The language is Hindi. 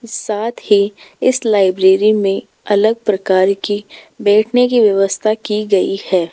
साथ ही इस लाइब्रेरी में अलग प्रकार की बैठने की व्यवस्था की गई है।